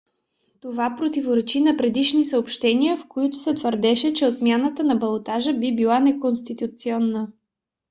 това противоречи на предишни съобщения в които се твърдеше че отмяната на балотажа би била неконституционна